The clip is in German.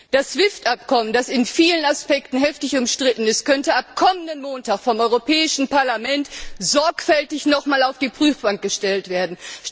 Das SWIFT Abkommen, das in vielen Aspekten heftig umstritten ist, könnte ab kommenden Montag vom Europäischen Parlament noch einmal sorgfältig auf die Prüfbank gestellt werden.